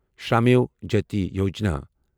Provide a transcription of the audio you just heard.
Shramev Jayate Yojana